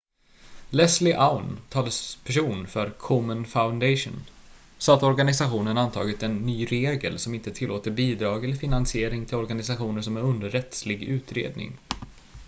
leslie aun talesperson för komen foundation sa att organisationen antagit en ny regel som inte tillåter bidrag eller finansiering till organisationer som är under rättslig utredning